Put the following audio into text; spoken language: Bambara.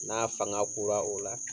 N'a fanga bura o la